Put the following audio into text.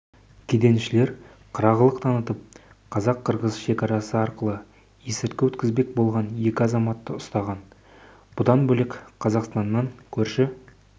кеденшілер қырағылық танытып қазақ-қырғыз екарасы арқылы есірткі өткізбек болған екі азаматты ұстаған бұдан бөлек қазақстаннан көрші